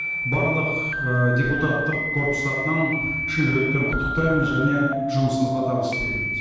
барлық ы депутаттық корпус атынан шын жүректен құттықтаймын және жұмысыңызға табыс тілейміз